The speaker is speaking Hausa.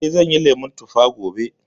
Eh, zan yi lemun tuffa gobe